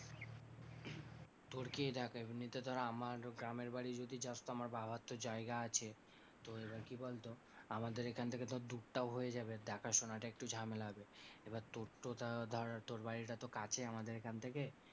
তোর কি দেখ এমনিতে ধর আমার গ্রামের বাড়ি যদি যাস তো আমার বাবার তো জায়গা আছে, তো এবার কি বলতো আমাদের এখান থেকে তো দূরটাও হয়ে যাবে দেখাশোনাটা একটু ঝামেলা হবে। এবার তোর তো ধর তোর বাড়িটা তো কাছে আমাদের এখান থেকে।